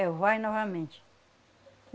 É o vai novamente.